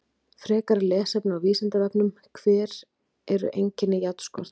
Frekara lesefni á Vísindavefnum: Hver eru einkenni járnskorts?